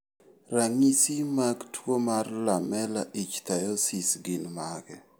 Ranyisi mag tuwo mar lamellar ichthyosis gin mage?